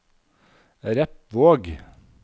Repvåg